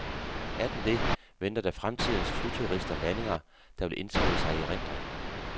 Er den det, venter der fremtidens flyturister landinger, der vil indskrive sig i erindringen.